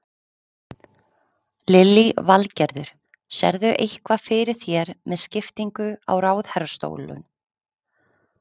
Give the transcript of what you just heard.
Lillý Valgerður: Sérðu eitthvað fyrir þér með skiptingu á ráðherrastólum?